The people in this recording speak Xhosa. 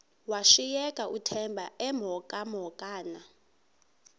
washiyeka uthemba emhokamhokana